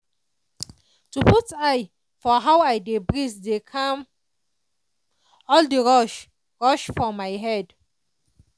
to put eye for how i dey breathe dey calm all the rush- rush for my head.